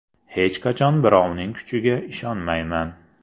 Hech qachon birovning kuchiga ishonmayman.